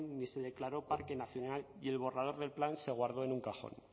y se declaró parque nacional y el borrador del plan se guardó en un cajón